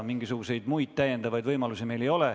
Mingisuguseid muid täiendavaid võimalusi meil ei ole.